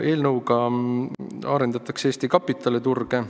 Eelnõu eesmärk on arendada Eesti kapitaliturge.